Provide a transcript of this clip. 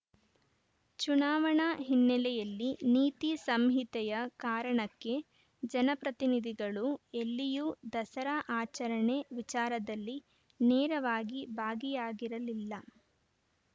ಚುನಾವಣಾ ಹಿನ್ನೆಲೆಯಲ್ಲಿ ನೀತಿ ಸಂಹಿತೆಯ ಕಾರಣಕ್ಕೆ ಜನಪ್ರತಿನಿಧಿಗಳು ಎಲ್ಲಿಯೂ ದಸರಾ ಆಚರಣೆ ವಿಚಾರದಲ್ಲಿ ನೇರವಾಗಿ ಭಾಗಿಯಾಗಿರಲಿಲ್ಲ